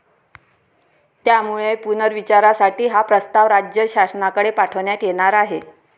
त्यामुळे पुनर्विचारासाठी हा प्रस्ताव राज्य शासनाकडे पाठवण्यात येणार आहे.